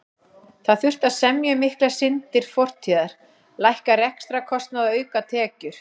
Það þurfti að semja um miklar syndir fortíðar, lækka rekstrarkostnað og auka tekjur.